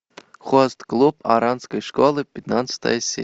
хост клуб оранской школы пятнадцатая серия